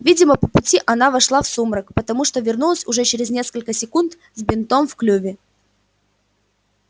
видимо по пути она вошла в сумрак потому что вернулась уже через несколько секунд с бинтом в клюве